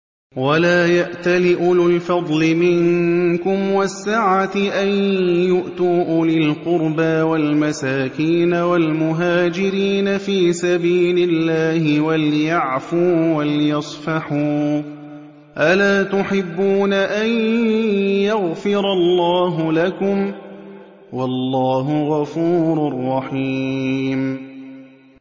وَلَا يَأْتَلِ أُولُو الْفَضْلِ مِنكُمْ وَالسَّعَةِ أَن يُؤْتُوا أُولِي الْقُرْبَىٰ وَالْمَسَاكِينَ وَالْمُهَاجِرِينَ فِي سَبِيلِ اللَّهِ ۖ وَلْيَعْفُوا وَلْيَصْفَحُوا ۗ أَلَا تُحِبُّونَ أَن يَغْفِرَ اللَّهُ لَكُمْ ۗ وَاللَّهُ غَفُورٌ رَّحِيمٌ